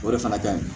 O de fana ka ɲi